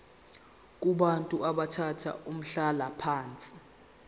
kubantu abathathe umhlalaphansi